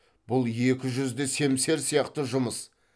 бұл екі жүзді семсер сияқты жұмыс